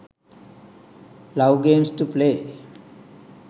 love games to play